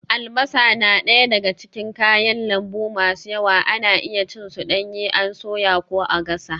Albasa na daya daga cikin kayan lambu masu yawa, ana iya cin su danye an soya ko a gasa.